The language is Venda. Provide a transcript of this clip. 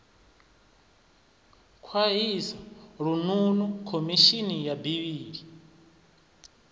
khwahisa lununu khomishini ya bili